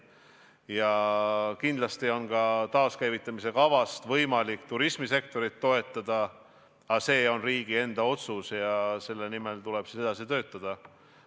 Ja kindlasti on taakäivitamise kavast võimalik ka turismisektorit toetada, aga see on riigi enda otsus ja selle nimel tuleb edasi töötada.